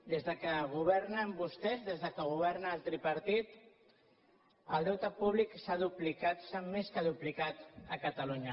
des que governen vostès des que governa el tripartit el deute públic s’ha duplicat s’ha més que duplicat a catalunya